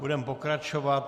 Budeme pokračovat.